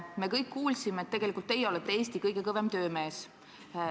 Me kõik kuulsime, et tegelikult olete teie Eesti kõige kõvem töömees.